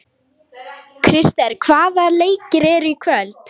Krister, hvaða leikir eru í kvöld?